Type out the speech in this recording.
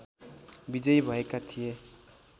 विजयी भएका थिए